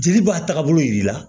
Jeli b'a taagabolo yiri la